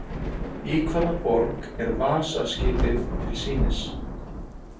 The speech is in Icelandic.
Í hvaða borg er Vasa-skipið til sýnis?